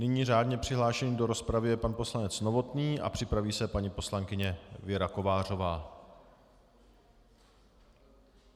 Nyní řádně přihlášený do rozpravy je pan poslanec Novotný a připraví se paní poslankyně Věra Kovářová.